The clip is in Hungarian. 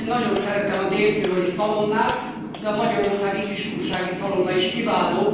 Én nagyon szeretem a dél tiroli szalonnát, de a magyarországi kiskunsági szalonna is kiváló.